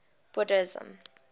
buddhism